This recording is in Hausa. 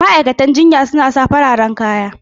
Ma'aikatan jinya suna sa fararen kaya